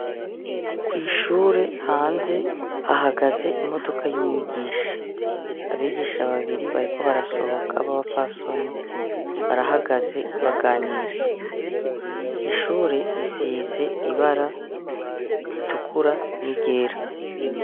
Kwi shure hanze hahagaze imodoka y' umwigisha, abigisha babiri bariko barasohoka baba pfasoni, barahagaze baganira ishure risize ibara ritukura n' iryera.